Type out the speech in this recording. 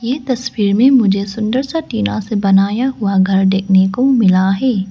ये तस्वीर में मुझे सुंदर सा टिना से बनाया हुआ घर देखने को मिला है।